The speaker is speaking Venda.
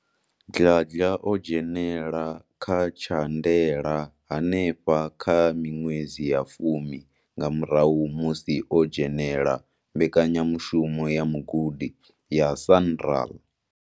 Dladla o dzhenela kha tsha ndela henefha kha miṅwedzi ya fumi nga murahu musi o dzhenela mbekanya mushumo ya mugudi ya SANRAL.